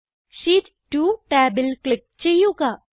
sheet 2 ടാബിൽ click ചെയ്യുക